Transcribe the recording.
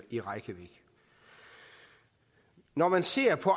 i reykjavik når man ser på